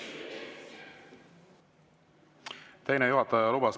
Teine juhataja lubas.